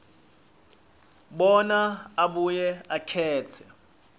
bona abuye akhetse